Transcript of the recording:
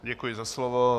Děkuji za slovo.